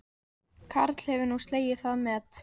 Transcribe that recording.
Karl hefur nú slegið það met